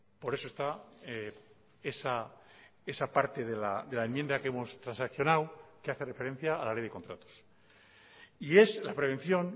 por eso está esa parte de la enmienda que hemos transaccionado que hace referencia a la ley de contratos y es la prevención